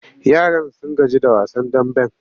Yaran sun gaji da wasan damben.